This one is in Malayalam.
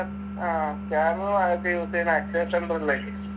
ആഹ് scanner ആദ്യത്തെ use എയ്യുന്നെ അക്ഷയ center ലായിരിക്കും